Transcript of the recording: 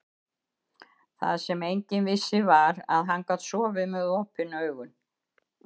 Það sem enginn vissi var, að hann gat sofið með OPIN AUGUN.